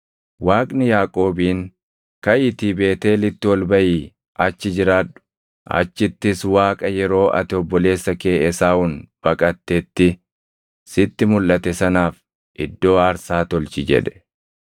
Waaqni Yaaqoobiin, “Kaʼiitii Beetʼeelitti ol baʼii achi jiraadhu; achittis Waaqa yeroo ati obboleessa kee Esaawun baqatetti sitti mulʼate sanaaf iddoo aarsaa tolchi” jedhe.